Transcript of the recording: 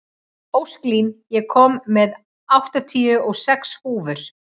Ósklín, ég kom með áttatíu og sex húfur!